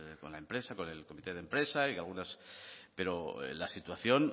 con la empresa con el comité de empresa y algunos pero la situación